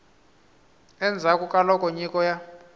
endzhaku ka loko nyiko ya